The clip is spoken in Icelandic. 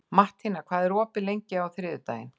Mattína, hvað er opið lengi á þriðjudaginn?